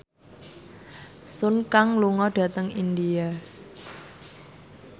Sun Kang lunga dhateng India